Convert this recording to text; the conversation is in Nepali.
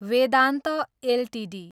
वेदान्त एलटिडी